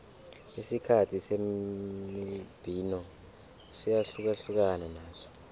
isikhathi semibhino siyahlukana naso